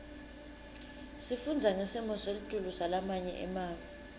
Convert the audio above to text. sifundza ngesimo selitulu salamanye emave